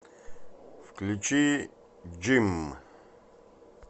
включи джимм